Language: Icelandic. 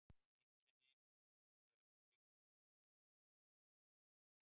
Einkenni á húð eru algeng, til dæmis kláði og roði.